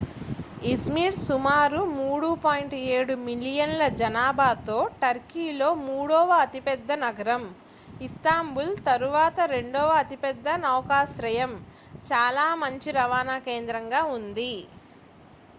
iszmir సుమారు 3.7 మిలియన్ల జనాభాతో టర్కీలో మూడవ అతిపెద్ద నగరం ఇస్తాంబుల్ తరువాత రెండవ అతిపెద్ద నౌకాశ్రయం చాలా మంచి రవాణా కేంద్రంగా ఉంది